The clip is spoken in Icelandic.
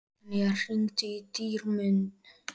Betanía, hringdu í Dýrmund.